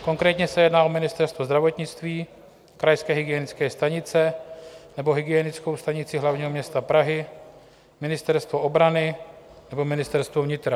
Konkrétně se jedná o Ministerstvo zdravotnictví, krajské hygienické stanice nebo Hygienickou stanici hlavního města Prahy, Ministerstvo obrany nebo Ministerstvo vnitra.